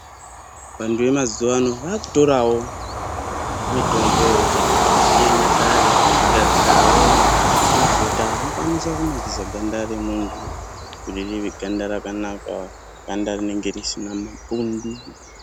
Vantu vemazuwano vakutorawo mitombo yechinyakare, kugadzirawo mafuta anokwanisa kunakisa ganda remuntu kuti rive ganda rakanaka, ganda rinenge risina mapundu.